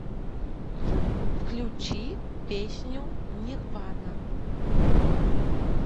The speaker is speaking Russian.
включи песню нирвана